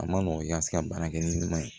A ma nɔgɔn i ka se ka baara kɛ ni ɲuman ye